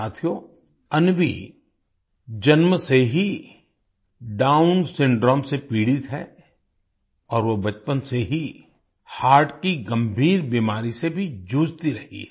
साथियो अन्वी जन्म से ही डाउन सिंड्रोम से पीड़ित हैं और वो बचपन से ही हर्ट की गंभीर बीमारी से भी जूझती रही है